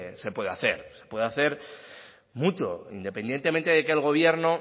se puede hacer se puede hacer mucho independientemente de que el gobierno